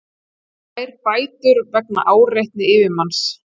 Fær bætur vegna áreitni yfirmanns